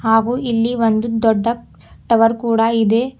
ಹಾಗೂ ಇಲ್ಲಿ ಒಂದು ದೊಡ್ಡ ಟವರ್ ಕೂಡ ಇದೆ.